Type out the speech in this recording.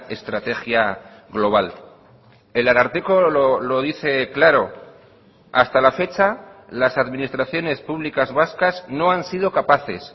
estrategia global el ararteko lo dice claro hasta la fecha las administraciones públicas vascas no han sido capaces